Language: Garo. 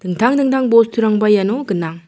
intang dingtang bosturangba iano gnang.